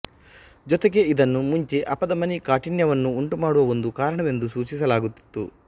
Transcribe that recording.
ಜೊತೆಗೆ ಇದನ್ನು ಮುಂಚೆ ಅಪಧಮನಿ ಕಾಠಿಣ್ಯವನ್ನು ಉಂಟು ಮಾಡುವ ಒಂದು ಕಾರಣವೆಂದು ಸೂಚಿಸಲಾಗುತ್ತಿತ್ತು